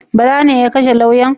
Bala ne ya kashe lauyan?